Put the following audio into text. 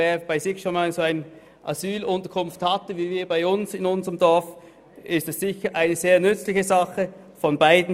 Wer bei sich im Dorf schon einmal eine solche Asylunterkunft hatte, wie wir bei uns, erkennt sicher, dass das für beide Seiten eine sehr nützliche Sache ist.